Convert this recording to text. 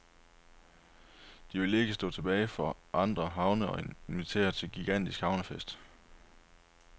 De vil ikke stå tilbage for andre havne og inviterer til gigantisk havnefest.